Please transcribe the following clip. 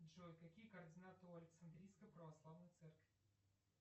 джой какие координаты у александрийской православной церкви